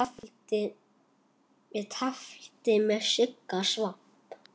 Ég tefldi við Sigga Svamp.